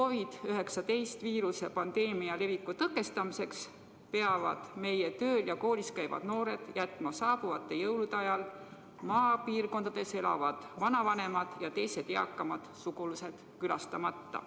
COVID-19 pandeemia leviku tõkestamiseks peavad meie tööl või koolis käivad noored jätma saabuvate jõulude ajal maal elavad vanavanemad ja teised eakamad sugulased külastamata.